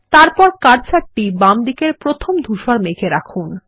তারপর কার্সারটি বামদিকের প্রথম ধূসর মেঘ এ রাখুন